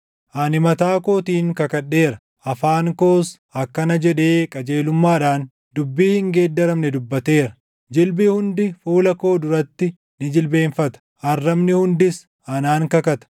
Ani mataa kootiin kakadheera; afaan koos akkana jedhee qajeelummaadhaan dubbii hin geeddaramne dubbateera; ‘Jilbi hundi fuula koo duratti ni jilbeenfata; arrabni hundis anaan kakata.’